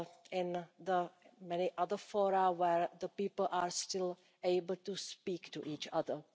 in the many other fora where people are still able to speak to each other.